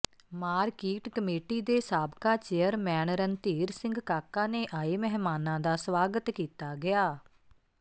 market committee ਦੇ ਸਾਬਕਾ chairman Randhir Singh Kaka ਨੇ ਆਏ ਮਹਿਮਾਨਾਂ ਦਾ ਸਵਾਗਤ ਕੀਤਾ ਗਿਆ